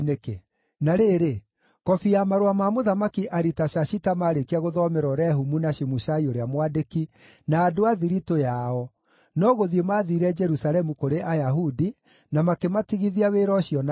Na rĩrĩ, kobi ya marũa ma Mũthamaki Aritashashita maarĩkia gũthomerwo Rehumu na Shimushai ũrĩa mwandĩki, na andũ a thiritũ yao, no gũthiĩ mathiire Jerusalemu kũrĩ Ayahudi, na makĩmatigithia wĩra ũcio na hinya.